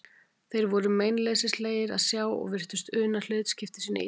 Þeir voru meinleysislegir að sjá og virtust una hlutskipti sínu illa.